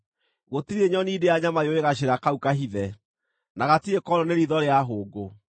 Gũtirĩ nyoni ndĩa-nyama yũĩ gacĩra kau kahithe, na gatirĩ konwo nĩ riitho rĩa hũngũ.